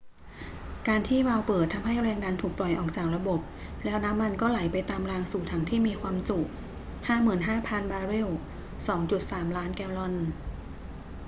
การที่วาล์วเปิดทำให้แรงดันถูกปล่อยออกจากระบบ แล้วน้ำมันก็ไหลไปตามรางสู่ถังที่มีความจุ 55,000 บาร์เรล 2.3 ล้านแกลลอน